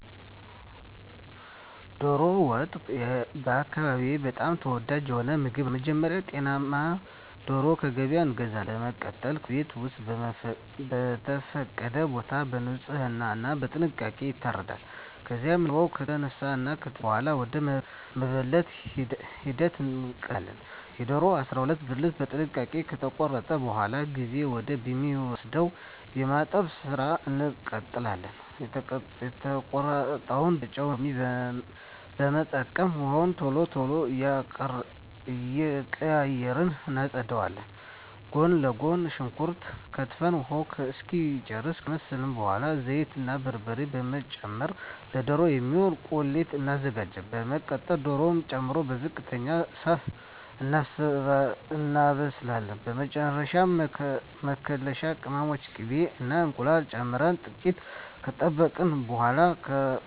ዶሮ ወጥ በአካባቢየ በጣም ተወዳጅ የሆነ ምግብ ነው። በመጀመሪያ ጤናማ ዶሮ ከገበያ እንገዛለን። በመቀጠል በቤት ወይም በተፈቀደ ቦታ በንጽህና እና በጥንቃቄ ይታረዳል። ከዚያም ላባው ከተነሳ እና ከተፀዳ በኃላ ወደ መበለት ሂደት እንቀጥላለን። የዶሮውን 12 ብልት በጥንቃቄ ከተቆራረጠ በኃላ ጊዜ ወደ ሚወስደው የማጠብ ስራ እንቀጥላለን። የተቆራረጠውን ዶሮ በጨው እና ሎሚ በመጠቀም ውሃውን ቶሎ ቶሎ እየቀያየርን እናፀዳዋለን። ጎን ለጎን ሽንኩርት ከትፈን ውሃውን እስኪጨርስ ካማሰልን በኃላ ዘይት እና በርበሬ በመጨመር ለዶሮ የሚሆን ቁሌት እናዘጋጃለን። በመቀጠል ዶሮውን ጨምረን በዝቅተኛ እሳት እናበስላለን። በመጨረሻ መከለሻ ቅመሞችን፣ ቅቤ እና እንቁላል ጨምረን ጥቂት ከጠበቅን በኃላ ከእሳት ላይ አውርደን እንዲቀዘቅዝ እንጠብቀዋለን። በመጨረሻም ከእንጀራ ጋር አቅርበን እንመገባለን።